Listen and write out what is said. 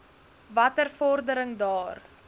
watter vordering daar